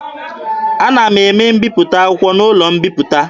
A na-eme mbiputa akwụkwọ n'ụlọ mbiputa.